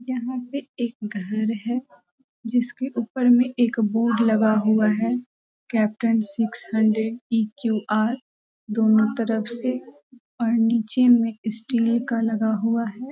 यहां पे एक घर है जिसके ऊपर में एक बोर्ड लगा हुआ है कैप्टन सिक्स हंड्रेड ई.क्यू.आर. दोनों तरफ से और नीचे में स्टील का लगा हुआ है।